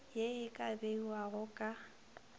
ye e ka beiwago ka